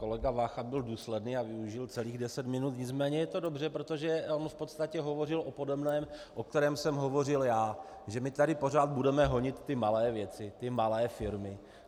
Kolega Vácha byl důsledný a využil celých deset minut, nicméně je to dobře, protože on v podstatě hovořil o podobném, o kterém jsem hovořil já, že my tady pořád budeme honit ty malé věci, ty malé firmy.